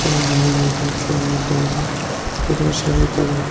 এবং নানান রকমের সরঞ্জাম পাওয়া যায় এখানে শাড়ির কালার --